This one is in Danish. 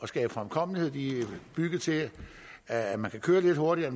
skabe fremkommelighed de er bygget til at man kan køre lidt hurtigere